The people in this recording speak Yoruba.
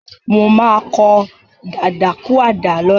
Mo máa kọ dadakúàdà lọ́la.